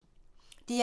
DR1